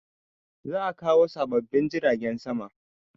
Za a kawo sababbin jiragen sama